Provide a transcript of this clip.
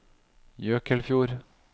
Jøkelfjord